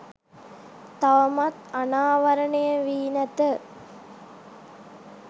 තවමත් අනාවරණය වී නැත.